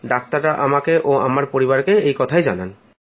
ডাক্তাররা আমাকে ও আমার পরিবারকে এই কথাই জানান